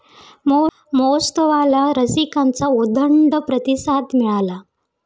महोत्सवाला रसिकांचा उदंड प्रतिसाद मिळाला.